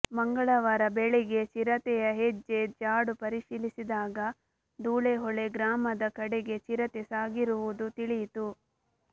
ಮಂಗಳವಾರ ಬೆಳಗ್ಗೆ ಚಿರತೆಯ ಹೆಜ್ಜೆ ಜಾಡು ಪರಿಶೀಲಿಸಿದಾಗ ಧೂಳೆಹೊಳೆ ಗ್ರಾಮದ ಕಡೆಗೆ ಚಿರತೆ ಸಾಗಿರುವುದು ತಿಳಿಯಿತು